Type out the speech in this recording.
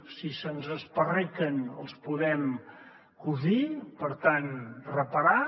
si se’ns esparraquen els podem cosir per tant reparar